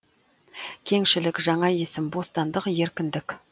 кеңшілік жаңа есім бостандық еркіндік